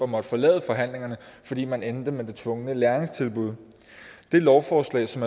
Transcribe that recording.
måtte forlade forhandlingerne fordi man endte med det tvungne læringstilbud det lovforslag som